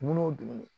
Dumuni o dumuni